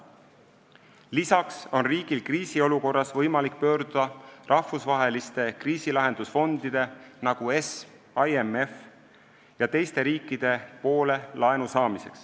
Lisaks on riigil kriisiolukorras võimalik pöörduda laenu saamiseks rahvusvaheliste kriisilahendusfondide, nagu ESM ja IMF, ja teiste riikide poole.